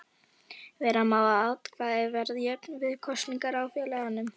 Vera má að atkvæði verði jöfn við kosningar í félaginu.